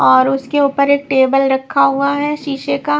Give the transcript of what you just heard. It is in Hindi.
और उसके ऊपर एक टेबल रखा हुआ है शीशे का--